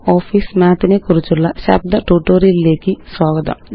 LibreOfficeMathനെക്കുറിച്ചുള്ള ശബ്ദ ട്യൂട്ടോറിയലിലേയ്ക്ക് സ്വാഗതം